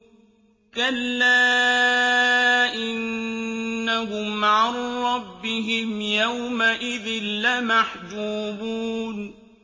كَلَّا إِنَّهُمْ عَن رَّبِّهِمْ يَوْمَئِذٍ لَّمَحْجُوبُونَ